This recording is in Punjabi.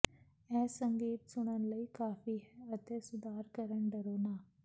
ਇਹ ਸੰਗੀਤ ਸੁਣਨ ਲਈ ਕਾਫ਼ੀ ਹੈ ਅਤੇ ਸੁਧਾਰ ਕਰਨ ਡਰੋ ਨਾ